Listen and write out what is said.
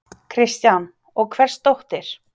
Kristján: Og hvers dóttir?